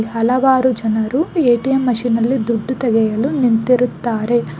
ಇಲ್ಲಿ ಹಲವಾರು ಜನರು ಎ_ಟಿ_ಎಂ ಮಷೀನ್ ನಲ್ಲಿ ದುಡ್ಡು ತೆಗೆಯಲು ನಿಂತಿರುತ್ತಾರೆ.